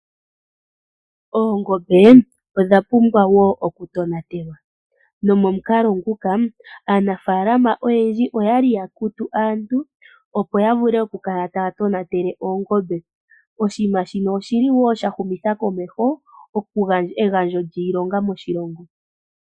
Ongoombe odha pumbwa wo okutonatelwa no momukalo nguka aanafaalama oyendji oya li ya kutu aantu opo ya vule oku kala taya tonatele oongombe. Oshinima shino oshilo wo sha humitha komeho egandjo lyiilonga moshilongo.